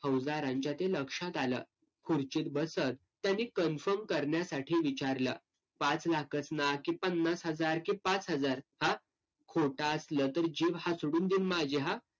फौजदारांच्या ते लक्षात आलं, खुर्चीत बसत त्यांनी confirm करण्यासाठी विचारलं, पाच लाखच ना की पन्नास हजार की पाच हजार हा? खोटं असलं तर जीभ हासडून दीन माझ्या हा?